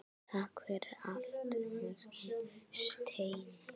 Takk fyrir allt, elsku Steini.